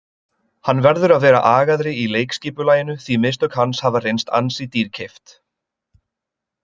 Hann verður að vera agaðri í leikskipulaginu því mistök hans hafa reynst ansi dýrkeypt.